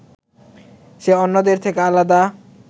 সে অন্যদের থেকে আলাদা